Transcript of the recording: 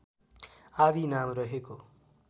आदि नाम रहेको